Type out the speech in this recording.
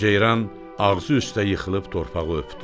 Ceyran ağzı üstə yıxılıb torpağı öpdü.